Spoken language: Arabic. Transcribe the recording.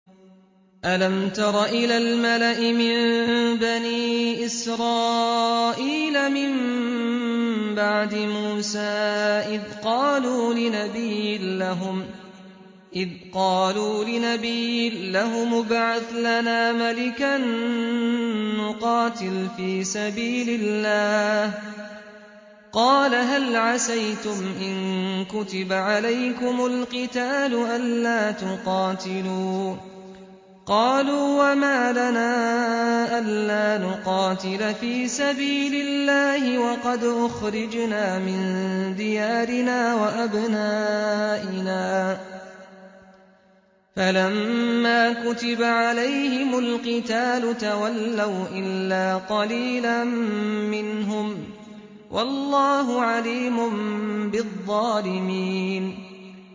أَلَمْ تَرَ إِلَى الْمَلَإِ مِن بَنِي إِسْرَائِيلَ مِن بَعْدِ مُوسَىٰ إِذْ قَالُوا لِنَبِيٍّ لَّهُمُ ابْعَثْ لَنَا مَلِكًا نُّقَاتِلْ فِي سَبِيلِ اللَّهِ ۖ قَالَ هَلْ عَسَيْتُمْ إِن كُتِبَ عَلَيْكُمُ الْقِتَالُ أَلَّا تُقَاتِلُوا ۖ قَالُوا وَمَا لَنَا أَلَّا نُقَاتِلَ فِي سَبِيلِ اللَّهِ وَقَدْ أُخْرِجْنَا مِن دِيَارِنَا وَأَبْنَائِنَا ۖ فَلَمَّا كُتِبَ عَلَيْهِمُ الْقِتَالُ تَوَلَّوْا إِلَّا قَلِيلًا مِّنْهُمْ ۗ وَاللَّهُ عَلِيمٌ بِالظَّالِمِينَ